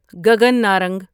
Gagan Narang